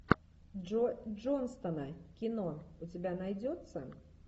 джо джонстона кино у тебя найдется